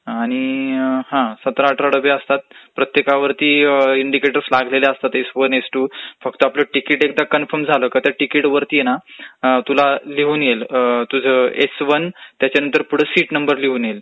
आणि अ..अ...अ...हे सतरा अठरा डबे असतात प्रत्येकावरती इन्डीकेटर लागलेले असतात एस वन, एस टू. तुझं तिकीट एकदा कन्फर्म झालं की त्या तिकीटवरती आहे ना तुला लिहून येईल तुझं एस वरून आणि त्याच्यापुढे सीट नंबर पण लिहून येईल,